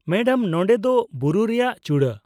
Madam, ᱱᱚᱸᱰᱮ ᱫᱚ ᱵᱩᱨᱩ ᱨᱮᱭᱟᱜ ᱪᱩᱲᱟᱹ ᱾